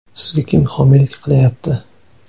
Sizga kim homiylik qilayapti?